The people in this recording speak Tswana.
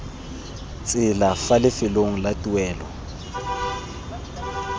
tsela fa lefelong la tuelo